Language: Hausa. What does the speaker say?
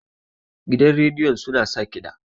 gidan rediyon suna sa kida